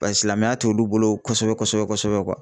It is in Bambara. Paseke silamɛya tɛ olu bolo kosɛbɛ kosɛbɛ kosɛbɛ